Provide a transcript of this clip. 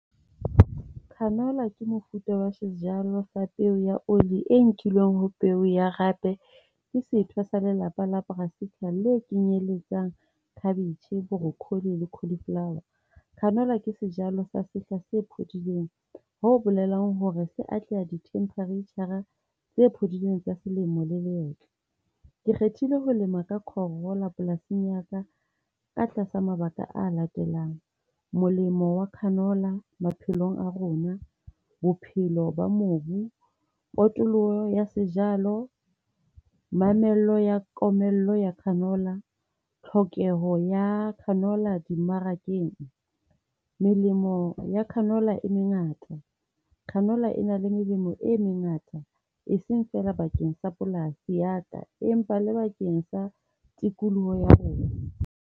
Canola ke mofuta wa sejalo sa peo ya oli e nkilweng ho peo ya hape ke setho sa lelapa la le kenyeletsang cabbage, broccoli le cauliflower. Canola ke sejalo sa sehla se phodileng, ho bolelang hore se atleha di-temperature-a tse phodileng tsa selemo le hwetla. Ke kgethile ho lema ka canola polasing ya ka ka tlasa mabaka a latelang. Molemo wa canola maphelong a rona, bophelo ba mobu, potoloho ya sejalo. Mamello ya komello ya canola. Tlhokeho ya canola dimmarakeng. Melemo ya canola e mengata. Canola e na le melemo e mengata, e seng feela bakeng sa polasi ya ka, empa le bakeng sa tikoloho ya rona.